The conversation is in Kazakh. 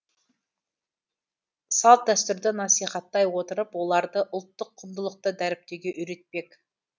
салт дәстүрді насихаттай отырып оларды ұлттық құндылықты дәріптеуге үйретпек